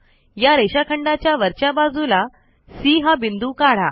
या रेषाखंडाच्या वरच्या बाजूला सी हा बिंदू काढा